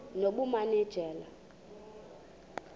nobumanejala